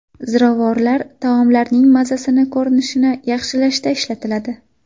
Ziravorlar taomlarning mazasini, ko‘rinishini yaxshilashda ishlatiladi.